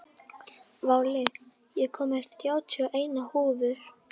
Váli, ég kom með þrjátíu og eina húfur!